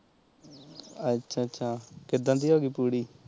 ਅੱਛਾ ਅੱਛਾ ਕਿੱਦਣ ਦੀ ਹੋਗੀ ਪੂਰੀ